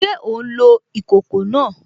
Ṣé ò ń lo ìkòkò náà?